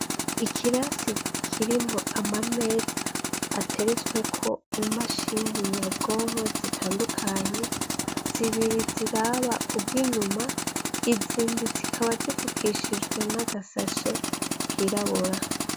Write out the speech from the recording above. ikirasi kirimwo ama meza ateretsweko i mashini nyabwonko zitandukanye zibiri ziraba ubw'inyuma izindi zikaba zifukishijwe n'agasashe kirabura